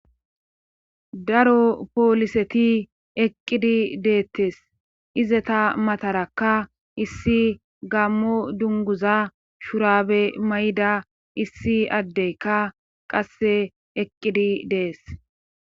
Daro pooliseti eqqidi deettes izeta matarakka issi gammo dunguza shurabe may7da issi addeykka qasse eqqidi dees.